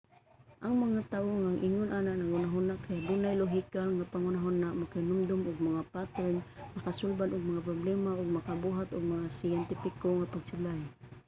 ang mga tawo nga ingon ani og huna-huna kay adunay lohikal nga panghuna-huna makahinumdum og mga pattern makasulbad og mga problema ug makabuhat og mga siyentipiko nga pagsulay